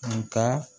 Nga